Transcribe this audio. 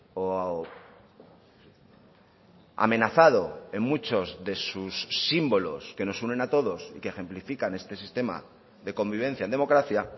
o amenazado en muchos de sus símbolos que nos unen a todos y que ejemplifican este sistema de convivencia en democracia